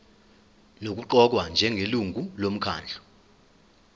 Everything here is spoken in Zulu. nokuqokwa njengelungu lomkhandlu